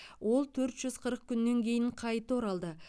ол төрт жүз қырық күннен кейін қайта оралды